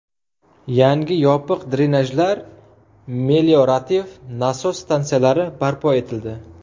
Yangi yopiq drenajlar, meliorativ nasos stansiyalari barpo etildi.